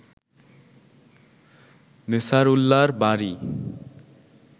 নেছারউল্লাহর বাড়ি